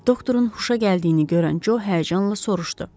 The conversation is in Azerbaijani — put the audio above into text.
Doktorun huşa gəldiyini görən Co həyəcanla soruşdu.